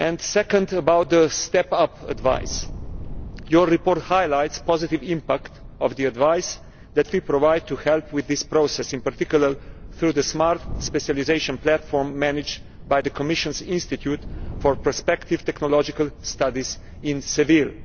Secondly, concerning the step up advice. Your report highlights the positive impact of the advice that we provide to help with this process, in particular through the smart specialisation platform managed by the Commissionʼs Institute for Prospective Technological Studies in Seville.